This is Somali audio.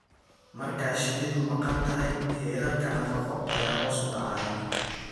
Marka shinnidu maqan tahay, heerarka nafaqo ayaa hoos u dhacaya.